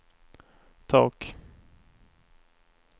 tak